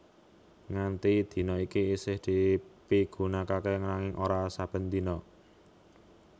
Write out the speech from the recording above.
Nganti dina iki isih dipigunakaké nanging ora sben dina